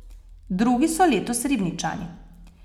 Drugi so letos Ribničani.